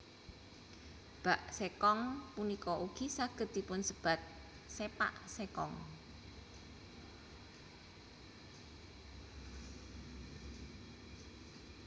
Bak sekong punika ugi saged dipunsebat sepak sekong